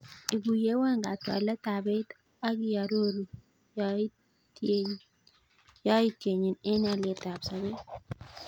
Igueyewan katwalet ab beit ak iaroru yaityenyin en alyet ab sabet